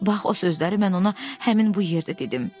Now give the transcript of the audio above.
Bax o sözləri mən ona həmin bu yerdə dedim.